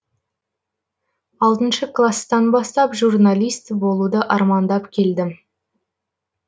класстан бастап журналист болуды армандап келдім